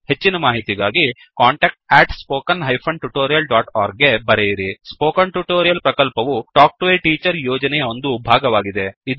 ಹೆಚ್ಚಿನ ಮಾಹಿತಿಗಾಗಿ contactspoken tutorialorg ಗೆ ಬರೆಯಿರಿ ಸ್ಪೋಕನ್ ಟ್ಯುಟೋರಿಯಲ್ ಪ್ರಕಲ್ಪವು ಟಾಕ್ ಟು ಎ ಟೀಚರ್ ಯೋಜನೆಯ ಒಂದು ಭಾಗವಾಗಿದೆ